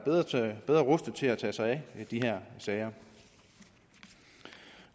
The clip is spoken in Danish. bedre til rustet til at tage sig af de her sager